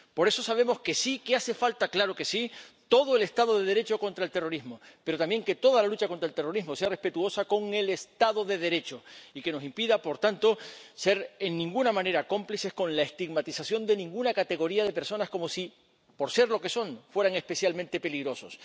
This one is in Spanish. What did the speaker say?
Por eso sabemos que sí, que hace falta —claro que sí— todo el Estado de Derecho contra el terrorismo, pero también que toda la lucha contra el terrorismo sea respetuosa con el Estado de Derecho, lo que nos impida, por tanto, ser de ninguna manera cómplices con la estigmatización de ninguna categoría de personas, como si por ser lo que son fueran especialmente peligrosas.